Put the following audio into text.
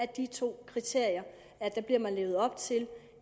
de to kriterier